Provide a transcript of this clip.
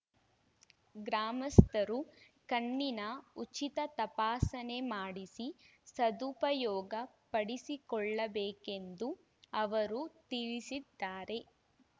ಗ್ರಾಮಸ್ಥರು ಕಣ್ಣಿನ ಉಚಿತ ತಪಾಸಣೆ ಮಾಡಿಸಿ ಸದುಪಯೋಗ ಪಡಿಸಿಕೊಳ್ಳಬೇಕೆಂದು ಅವರು ತಿಳಿಸಿದ್ದಾರೆ